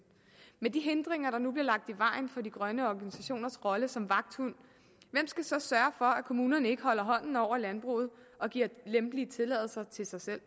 men med de hindringer der nu bliver lagt i vejen for de grønne organisationers rolle som vagthund hvem skal så sørge for at kommunerne ikke holder hånden over landbruget og giver lempelige tilladelser til sig selv